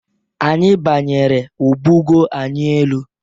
Anyị banyere o bugoo anyị elu.